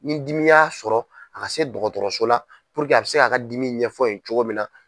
Ni dimi y'a sɔrɔ a ka se dɔgɔtɔrɔso la a bɛ se k'a ka dimi ɲɛfɔ yen cogo min na.